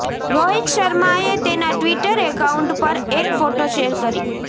રોહિત શર્માએ તેના Twitter account પર એક ફોટો શેર કરી